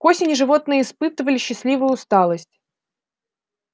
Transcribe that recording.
к осени животные испытывали счастливую усталость